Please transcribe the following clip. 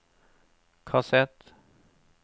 kassett